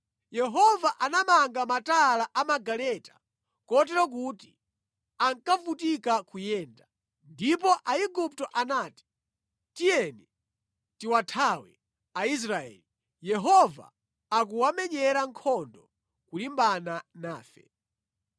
Yehova anamanga matayala a magaleta kotero kuti ankavutika kuyenda. Ndipo Aigupto anati, “Tiyeni tiwathawe Aisraeli! Yehova akuwamenyera nkhondo kulimbana nafe.”